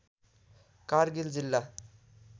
कारगिल जिल्ला